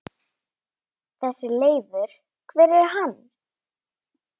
Þessi Leifur. hver er hann?